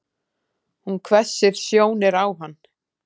Hún hvessir sjónir á hann.